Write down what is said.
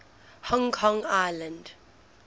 hong kong island